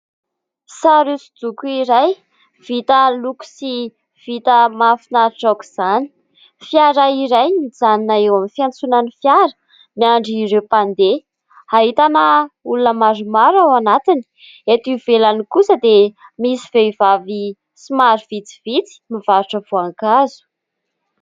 Sary hoso-doko iray vita loko sy vita mahafinaritra aok'izany. Fiara iray mijanona eo amin'ny fiantsonan'ny fiara, miandry ireo mpandeha. Ahitana olona maromaro ao anatiny. Eto ivelany kosa dia misy vehivavy somary vitsivitsy mivarotra voankazo.